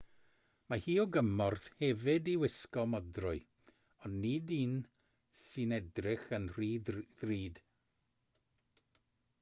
mae hi o gymorth hefyd i wisgo modrwy ond nid un sy'n edrych yn rhy ddrud